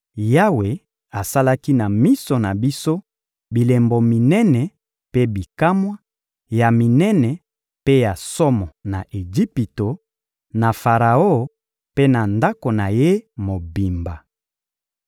Yawe asalaki na miso na biso bilembo minene mpe bikamwa, ya minene mpe ya somo na Ejipito, na Faraon mpe na ndako na ye mobimba.